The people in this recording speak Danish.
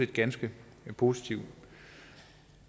ganske positivt